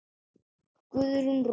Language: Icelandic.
Guðrún Rós.